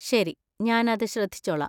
ശരി, ഞാൻ അത് ശ്രദ്ധിച്ചോള്ളാം.